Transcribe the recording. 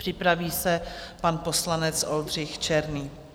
Připraví se pan poslanec Oldřich Černý.